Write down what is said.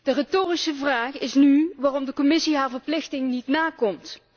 De retorische vraag is nu waarom de Commissie haar verplichting niet nakomt.